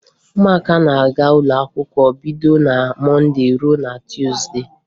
Ụmụaka na-aga n'ụlọakwụkwọ bido na Mọnde ruo na Tuuzde